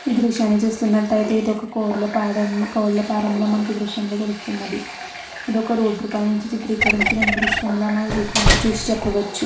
ఈ దృశ్యాన్ని చూస్తున్నట్లయితే ఇది ఒక కోళ్ల ఫారం కోళ్ల ఫారంలాగా మనకి ఈ దృశ్యంలా తెలుస్తూ ఉన్నది. ఇది ఒక రోడ్డు పై నుంచి చిత్రీకరించిన లాగా మనవి దృశ్యాన్ని చూసి చెప్పవచ్చు.